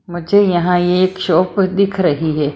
मुझे यहां ये एक शॉप दिख रही है।